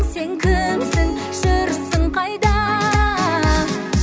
сен кімсің жүрсің қайда